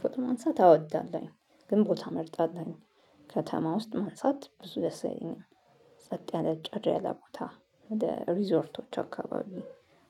ፎቶ ማንሳት አዎ አወዳለሁኝ ግን ቦታ እመርጣለሁ ከተማ ውስጥ ማንሳት ብዙ ደስ የለኝም። ሰጥ ያለ ጭር ያለ ቦታ ወደ ሪዞርቶች አካባቢ